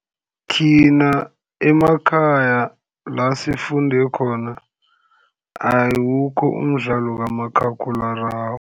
Thina emakhaya la sifunde khona, awukho umdlalo kamakhakhulararhwe.